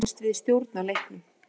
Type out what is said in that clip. Mér fannst við stjórna leiknum.